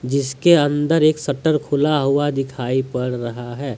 जिसके अंदर एक शटर खुला हुआ दिखाई पड़ रहा है।